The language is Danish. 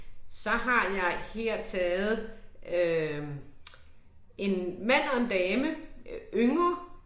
Så har jeg her taget øh ***nonverbal** en mand og en dame, æh yngre